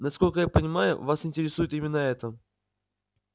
насколько я понимаю вас интересует именно это